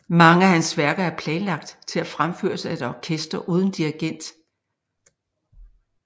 Mange af hans værker er planlagt til at fremføres af et orkester uden dirigent